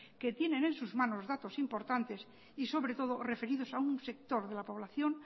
que tiene en sus manos datos importantes y sobre todo referidos a un sector de la población